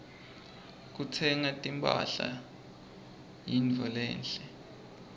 kutsenga timphahla kuyintfo lenhle